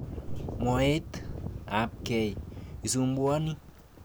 mwaet ap kie isumbuani